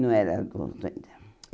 Não era adulto ainda.